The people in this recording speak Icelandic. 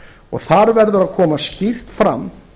og þar verður að koma skýrt fram